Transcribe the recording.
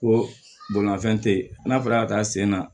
Ko bolimanfɛn te yen n'a fɔra ka taa sen na